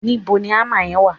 níbo ni hammer yen wa